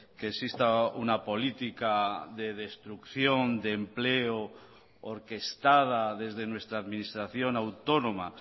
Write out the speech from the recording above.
que exista una política de destrucción de empleo orquestada desde nuestra administración autónoma